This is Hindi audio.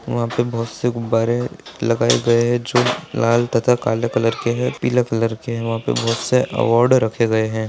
वहां पे बहुत से गुब्बारे लगाए गए है जो लाल तथा काले कलर के है पीले कलर के है वहा पे बहुत से अवॉर्ड रखे गए है।